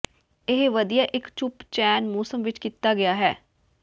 ਇਹ ਵਧੀਆ ਇੱਕ ਚੁੱਪ ਚੈਨ ਮੌਸਮ ਵਿਚ ਕੀਤਾ ਗਿਆ ਹੈ